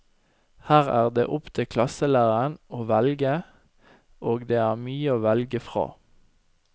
Her er det opp til klasselæreren å velge, og det er mye å velge fra.